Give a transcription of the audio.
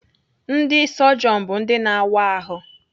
Ndị sọjọn bụ ndị na-awa ahụ.